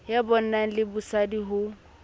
ya bonna le bosadi ho